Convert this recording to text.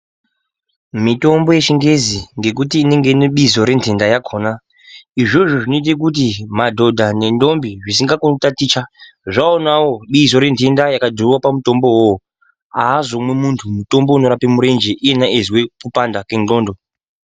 Mitombo yechingezi ngekuti inenge ine bizo renhenda yakona izvozvo zvinoita kuti madhodha nendombi asingakoni kutaticha zvawonawo bizo rakanyorwa pamutombo iwowo azvizopi vantu mutombo unorapa murenje iye achinzwa kupanda kwendxondo